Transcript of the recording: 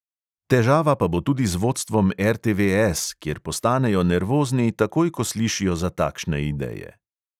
Težava pa bo tudi z vodstvom RTVS, kjer postanejo nervozni takoj, ko slišijo za takšne ideje.